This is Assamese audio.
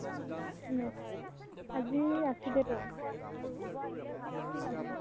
মেত~ আজি আছিলে ত metric